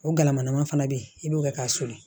O galama fana bɛ yen i b'o kɛ k'a susu